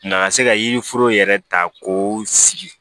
Na ka se ka yiriforo yɛrɛ ta k'o sigi